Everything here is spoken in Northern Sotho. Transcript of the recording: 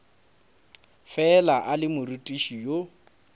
fela a le morutiši yo